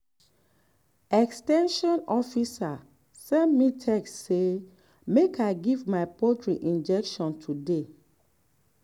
ex ten sion officer send me text say make i give my poultry injection today.